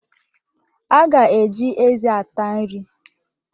A ga-eji eze ata nri